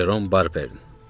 Jerom Barbernin.